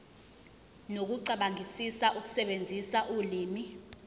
nokucabangisisa ukusebenzisa ulimi